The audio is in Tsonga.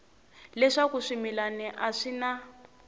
leswaku swimila a swi na